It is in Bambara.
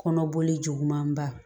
Kɔnɔboli juguman ba